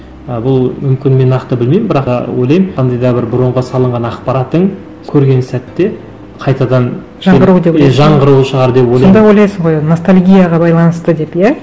ы бұл мүмкін мен нақты білмеймін бірақ ы ойлаймын қандай да бір бұрынғы салынған ақпаратың көрген сәтте қайтадан жаңғыру деп ойлайсың жаңғыруы шығар деп ойлаймын сонда ойлайсың ғой ностальгияға байланысты деп иә